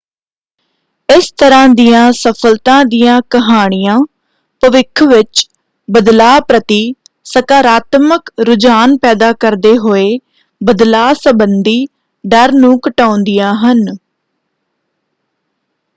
ਇਸ ਤਰ੍ਹਾਂ ਦੀਆਂ ਸਫਲਤਾ ਦੀਆਂ ਕਹਾਣੀਆਂ ਭਵਿੱਖ ਵਿੱਚ ਬਦਲਾਅ ਪ੍ਰਤੀ ਸਕਾਰਾਤਮਕ ਰੁਝਾਨ ਪੈਦਾ ਕਰਦੇ ਹੋਏ ਬਦਲਾਅ ਸੰਬੰਦੀ ਡਰ ਨੂੰ ਘਟਾਉਂਦੀਆਂ ਹਨ।